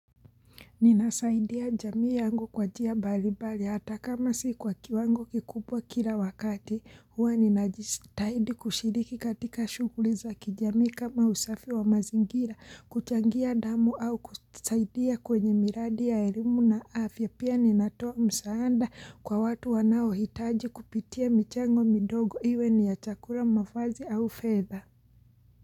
Ninasaidia jamii yangu kwa jia bali bali hata kama si kwa kiwango kikubwa kila wakati huwa ninajistahidi kushiriki katika shughuli za kijamii kama usafi wa mazingira kuchangia damu au kusaidia kwenye miradi ya elimu na afya pia ninatoa msaanda kwa watu wanao hitaji kupitia michango midogo iwe ni ya chakura mafazi au feather.